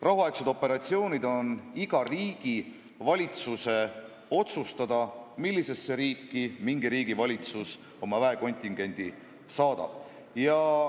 Rahuaegsete operatsioonide puhul on iga riigi valitsuse otsustada, mis riiki ta oma väekontingendi saadab.